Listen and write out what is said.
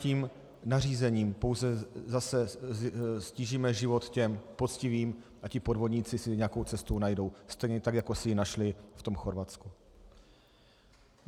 Tímto nařízením pouze zase ztížíme život těm poctivým a ti podvodníci si nějakou cestu najdou, stejně tak jako si ji našli v tom Chorvatsku.